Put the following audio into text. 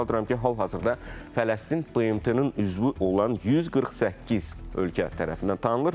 Xatırladıram ki, hal-hazırda Fələstin BMT-nin üzvü olan 148 ölkə tərəfindən tanınır.